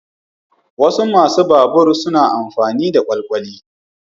Wasu masu babur suna amfani da kwalkwali.